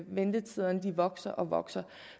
ventetiderne vokser og vokser